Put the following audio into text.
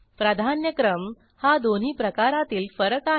प्राधान्यक्रम हा दोन्ही प्रकारातील फरक आहे